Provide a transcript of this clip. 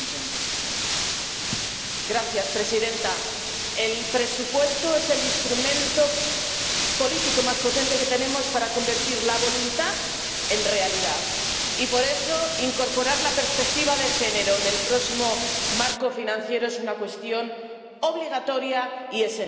Señora presidenta, el presupuesto es el instrumento político más potente que tenemos para convertir la voluntad en realidad, y, por eso, incorporar la perspectiva de género en el próximo marco financiero es una cuestión obligatoria y esencial.